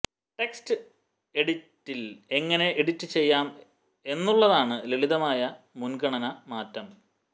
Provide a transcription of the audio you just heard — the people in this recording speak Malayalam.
ടെക്സ്റ്റ് എഡിഡിറ്റിൽ എങ്ങിനെ എഡിറ്റ് ചെയ്യാം എന്നുള്ളതാണ് ലളിതമായ മുൻഗണന മാറ്റം